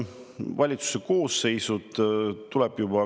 Valitsuse koosseisud muutuvad.